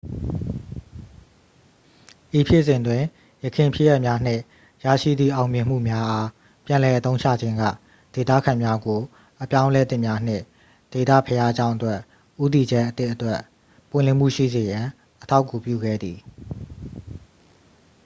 ဤဖြစ်စဉ်တွင် ယခင်ဖြစ်ရပ်များနှင့် ရရှိသည့် အောင်မြင်မှုများအား ပြန်လည်အသုံးချခြင်းက ဒေသခံများကို အပြောင်းအလဲသစ်များနှင့် ဒေသဘုရားကျောင်းအတွက် ဦးတည်ချက်အသစ်အတွက် ပွင့်လင်းမှုရှိစေရန် အထောက်အကူပြုခဲ့သည်